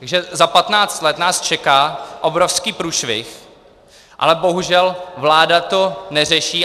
Takže za patnáct let nás čeká obrovský průšvih, ale bohužel vláda to neřeší.